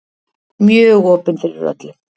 Mjög opin fyrir öllu.